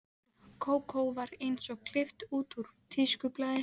Kókó var eins og klippt út úr tískublaði, Sjonni og